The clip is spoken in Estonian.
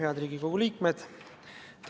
Head Riigikogu liikmed!